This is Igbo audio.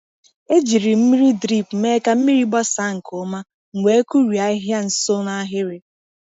E jiri mmiri drip mee ka mmiri gbasaa nke ọma, m wee kụrie ahịhịa nso n’ahịrị.